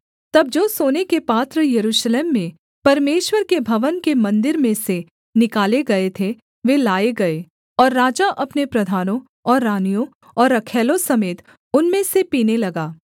तब जो सोने के पात्र यरूशलेम में परमेश्वर के भवन के मन्दिर में से निकाले गए थे वे लाए गए और राजा अपने प्रधानों और रानियों और रखैलों समेत उनमें से पीने लगा